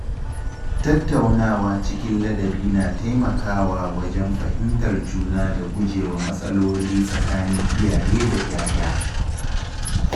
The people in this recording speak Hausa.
Tattaunawa cikin ladabi na taimakawa wajen fahimtar juna da gujewa matsaloli tsakanin iyaye da ‘ya’ya.